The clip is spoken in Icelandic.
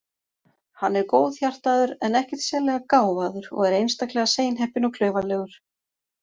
Hann er góðhjartaður en ekkert sérlega gáfaður og er einstaklega seinheppinn og klaufalegur.